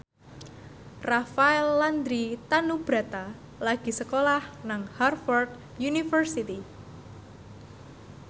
Rafael Landry Tanubrata lagi sekolah nang Harvard university